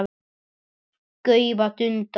gaufa, dunda.